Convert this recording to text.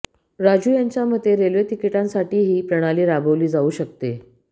राजू यांच्या मते रेल्वे तिकीटांसाठीही ही प्रणाली राबवली जाऊ शकते